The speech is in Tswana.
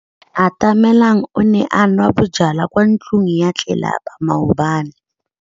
Atamelang o ne a nwa bojwala kwa ntlong ya tlelapa maobane.